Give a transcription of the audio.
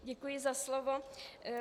Děkuji za slovo.